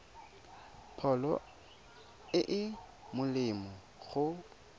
pholo e e molemo go